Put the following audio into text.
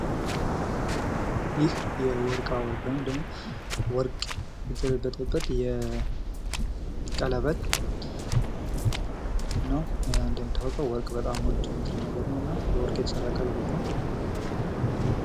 ይህ የወርቃወርቅ ወይም የወርቅ የተለበጡበት የቀለበት ነው። እንደሚታወቀው ወርቅ በጣም ውድ ንጥረ ነገር ነውና በወርቅ የተሰራ ቀለበት ነው።